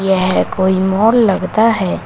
यह कोई मॉल लगता है।